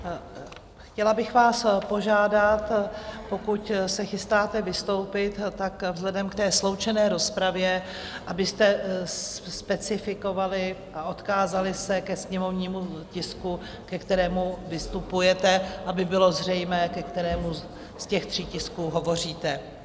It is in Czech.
Chtěla bych vás požádat, pokud se chystáte vystoupit, tak vzhledem k té sloučené rozpravě abyste specifikovali a odkázali se ke sněmovnímu tisku, ke kterému vystupujete, aby bylo zřejmé, ke kterému z těch tří tisků hovoříte.